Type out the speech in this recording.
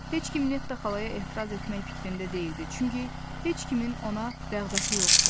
Heç kim Netta xalaya etiraz etmək fikrində deyildi, çünki heç kimin ona rəğbəti yox idi.